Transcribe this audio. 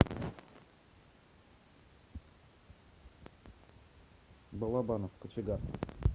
балабанов кочегар